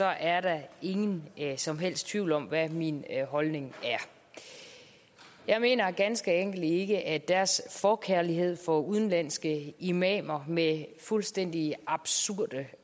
er der ingen som helst tvivl om hvad min holdning er jeg mener ganske enkelt ikke at deres forkærlighed for udenlandske imamer med fuldstændig absurde